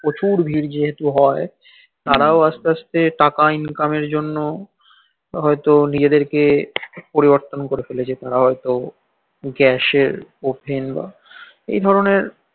প্রচুর ভির যেহেতু হই ও হই তারাও আসতে আসতে টাকা income এর জন্য হইত নিজেদের কে পরিবর্তন করে ফেলেছে গ্যাসের ওভেন